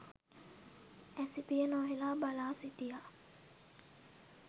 ඇස පිය නොහෙලා බලා සිටියා